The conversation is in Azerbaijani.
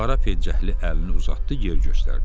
Qara pencəkli əlini uzatdı, yer göstərdi.